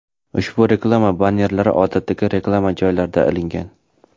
Ushbu reklama bannerlari odatdagi reklama joylarida ilingan.